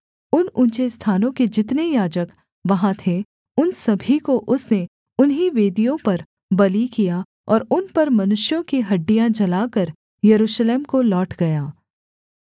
उन ऊँचे स्थानों के जितने याजक वहाँ थे उन सभी को उसने उन्हीं वेदियों पर बलि किया और उन पर मनुष्यों की हड्डियाँ जलाकर यरूशलेम को लौट गया